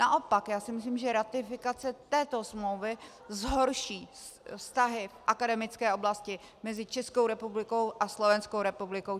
Naopak já si myslím, že ratifikace této smlouvy zhorší vztahy v akademické oblasti mezi Českou republikou a Slovenskou republikou.